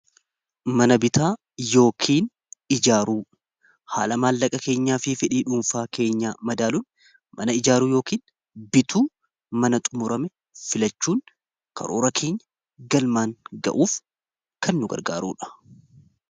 mana bitaa yookiin ijaaruu haala maallaqa keenyaa fi fedhii dhuunfaa keenyaa madaaluun mana ijaaruu yookiin bituu mana xumurame filachuun karoora keenya galmaan ga'uuf kannu gargaaruudha